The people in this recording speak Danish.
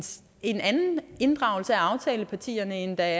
en anden inddragelse af aftalepartierne end af